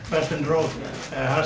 var stefnu hans